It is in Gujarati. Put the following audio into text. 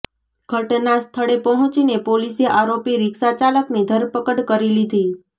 ઘટના સ્થળે પહોંચીને પોલીસે આરોપી રિક્ષા ચાલકની ધરપકડ કરી લીધી